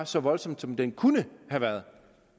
så voldsom som den kunne have været